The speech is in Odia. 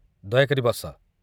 ଦୟାକରି ବସ।